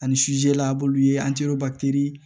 Ani la a b'olu ye